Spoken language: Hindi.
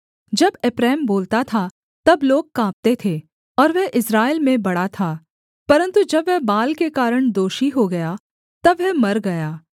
जब एप्रैम बोलता था तब लोग काँपते थे और वह इस्राएल में बड़ा था परन्तु जब वह बाल के कारण दोषी हो गया तब वह मर गया